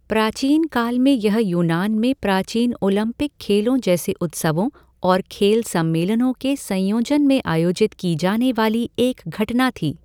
प्राचीन काल में यह यूनान में प्राचीन ओलंपिक खेलों जैसे उत्सवों और खेल सम्मेलनों के संयोजन में आयोजित की जाने वाली एक घटना थी।